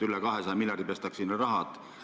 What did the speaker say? Üle 200 miljardi on siin raha pestud.